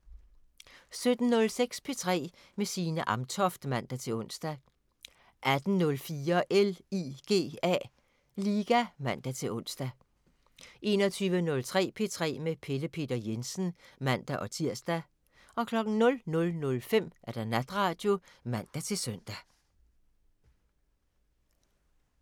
17:06: P3 med Signe Amtoft (man-ons) 18:04: LIGA (man-ons) 21:03: P3 med Pelle Peter Jensen (man-tir) 00:05: Natradio (man-søn)